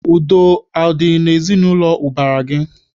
Udo ọ dị n'ezinaụlọ ụbara unu?